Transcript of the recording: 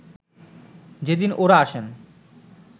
যেদিন ও’রা আসেন